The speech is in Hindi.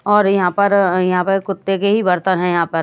और यहां पर यहां पर कुत्ते के ही बर्तन है यहां पर।